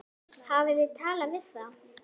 Hafið þið talað við þá?